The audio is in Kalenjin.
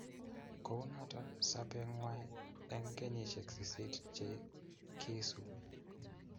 Kounoto sobengwai eng kenyisiek sisit che kiisubi